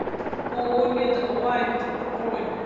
ооо медлайт бронь